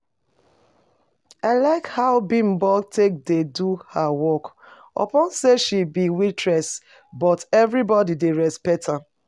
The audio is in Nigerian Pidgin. I like how Bimbo take dey do her work, upon say she be waitress but everybody dey respect am